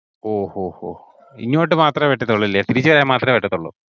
ഓഹ് ഓഹ് ഓഹ് ഇങ്ങോട്ടു മാത്രമേ പറ്റത്തൊള്ളൂ അല്ലിയോ തിരിച്ചു വരാൻ മാത്രമേ പറ്റത്തൊള്ളൂ.